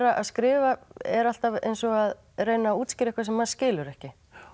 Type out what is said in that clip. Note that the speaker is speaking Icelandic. að skrifa er alltaf eins og að reyna að útskýra eitthvað sem maður skilur ekki